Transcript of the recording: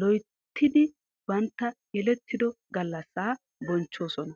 loyittidi bantta yelettido gallassa bonchchoosona.